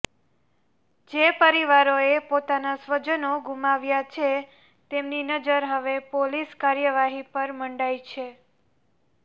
જે પરિવારોએ પોતાના સ્વજનો ગુમાવ્યાં છે તેમની નજર હવે પોલીસ કાર્યવાહી પર મંડાઈ છે